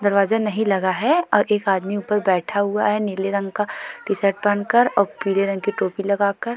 दरवाजा नहीं लगा है और एक आदमी ऊपर बैठा हुआ है। नीले रंग का टी-शर्ट पहनकर और पीले रंग की टोपी लगाकर।